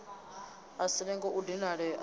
a si lenge u dinalea